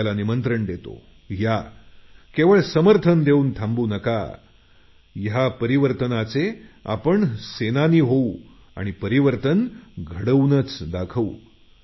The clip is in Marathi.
आपल्या मी निमंत्रण देतो या केवळ समर्थन देऊन थांबू नका परिवर्तनाचे आपण सेनानी होऊ आणि परिवर्तन घडवून दाखवू